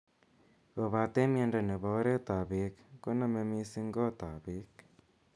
Kobatee miondo nepo oreet ap beek koname missing koot ap beek.